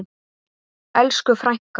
Elsku frænka.